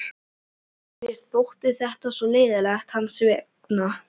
Mér þótti þetta svo leiðinlegt hans vegna.